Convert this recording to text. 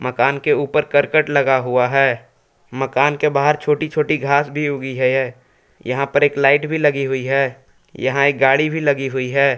मकान के ऊपर करकट लगा हुआ है मकान के बाहर छोटी छोटी घास भी उगी है यहां पर एक लाइट भी लगी हुई है यहां एक गाड़ी भी लगी हुई है।